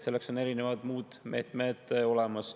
Selleks on erinevad muud meetmed olemas.